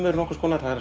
er nokkurs konar